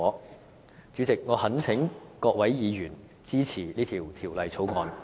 代理主席，我懇請各位議員支持《條例草案》。